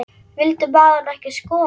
Vildi maðurinn ekki skora?